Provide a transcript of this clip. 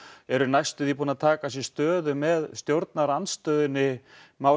eru næstum því búin að taka sér stöðu með stjórnarandstöðunni má